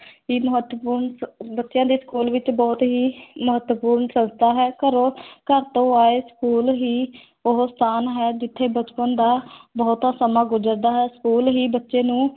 ਹੀ ਮਹੱਤਵਪੂਰਨ ਸੰ ਬੱਚਿਆਂ ਦੇ school ਵਿੱਚ ਬਹੁਤ ਹੀ ਮਹੱਤਵਪੂਰਨ ਸੰਸਥਾ ਹੈ, ਘਰੋਂ ਘਰ ਤੋਂ ਆਏ school ਹੀ ਉਹ ਸਥਾਨ ਹੈ, ਜਿੱਥੇ ਬਚਪਨ ਦਾ ਬਹੁਤਾ ਸਮਾਂ ਗੁਜ਼ਰਦਾ ਹੈ school ਹੀ ਬੱਚੇ ਨੂੰ